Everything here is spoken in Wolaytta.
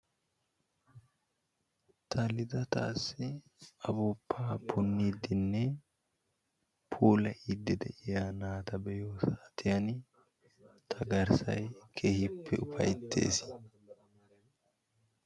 Xallida daassi ufuuppa punniiddinne puulayiiddi de"iya naata be"iyo saatiyan ta garssayi keehippe ufayttes.